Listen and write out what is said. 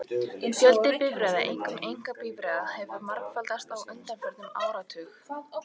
Fjöldi bifreiða, einkum einkabifreiða, hefur margfaldast á undanförnum áratug.